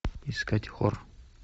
искать хор